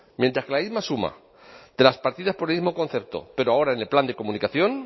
mientras que la misma suma de las partidas por el mismo concepto pero ahora en el plan de comunicación